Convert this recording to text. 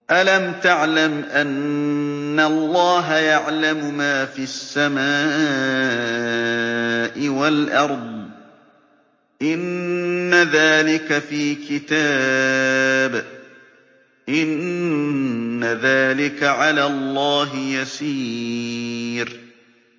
أَلَمْ تَعْلَمْ أَنَّ اللَّهَ يَعْلَمُ مَا فِي السَّمَاءِ وَالْأَرْضِ ۗ إِنَّ ذَٰلِكَ فِي كِتَابٍ ۚ إِنَّ ذَٰلِكَ عَلَى اللَّهِ يَسِيرٌ